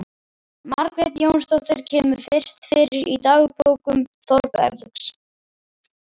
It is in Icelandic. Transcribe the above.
Margrét Jónsdóttir kemur fyrst fyrir í dagbókum Þórbergs